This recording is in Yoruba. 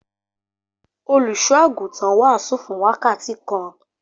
Olùṣọ́-àgùntàn wàásù fún wákàtí kan.